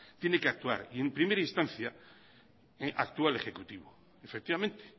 tiene que actuar y en primera instancia actúa el ejecutivo efectivamente